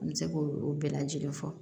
An bɛ se k'o bɛɛ lajɛlen fɔ